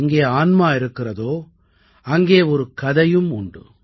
எங்கே ஆன்மா இருக்கிறதோஅங்கே ஒரு கதையும் உண்டு